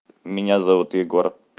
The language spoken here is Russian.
меня зовут егор